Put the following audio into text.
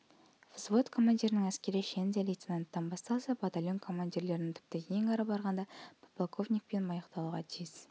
взвод командирінің әскери шені де лейтинанттан басталса батальон командирлерінің тіпті ең ары барғанда подполковникпен аяқтауға тиіс